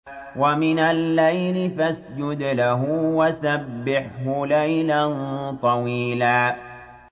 وَمِنَ اللَّيْلِ فَاسْجُدْ لَهُ وَسَبِّحْهُ لَيْلًا طَوِيلًا